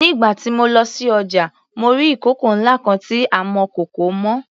Nígbà tí mo lọ sí ọjà mo rí ìkòkò ńlá kan tí amọ̀kòkò mọ.